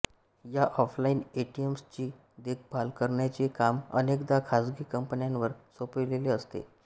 या ऑफलाईन एटीएम्सची देखभाल करण्याचे काम अनेकदा खासगी कंपन्यांवर सोपविलेले असते